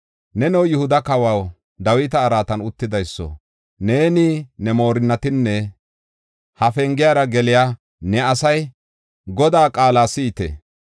‘Neno Yihuda kawaw, Dawita araatan uttidayso, neeni, ne moorinnatinne ha pengiyara geliya ne asay Godaa qaala si7ite!